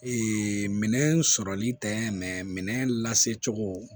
minɛn sɔrɔli tɛ mɛɛnɛ lase cogo